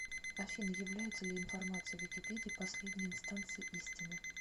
афина является ли информация в википедии последней инстанцией истины